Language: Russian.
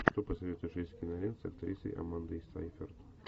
что посоветуешь из кинолент с актрисой амандой сейфрид